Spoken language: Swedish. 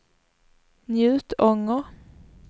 Njutånger